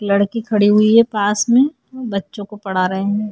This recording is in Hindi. लड़की खड़ी हुई है पास में। बच्चों को पढ़ा रहे हैं।